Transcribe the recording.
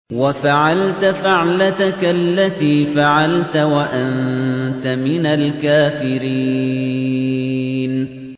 وَفَعَلْتَ فَعْلَتَكَ الَّتِي فَعَلْتَ وَأَنتَ مِنَ الْكَافِرِينَ